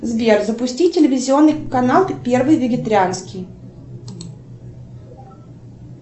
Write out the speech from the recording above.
сбер запусти телевизионный канал первый вегетарианский